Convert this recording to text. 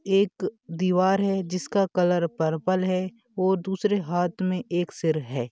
एक दीवार है जिसका कलर पर्पल है व दूसारे हाथ में एक सिर है।